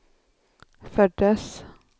föddes